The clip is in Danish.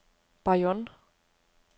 Bayonne